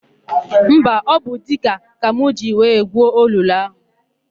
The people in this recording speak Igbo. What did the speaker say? Mba, ọ bụ diga ka m jiri wee gwuo olulu áhụ̀.